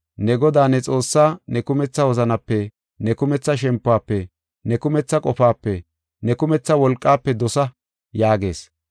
Ne Godaa ne Xoossaa ne kumetha wozanape, ne kumetha shempuwafe, ne kumetha qofaape, ne kumetha wolqaafe dosa’ yaagees.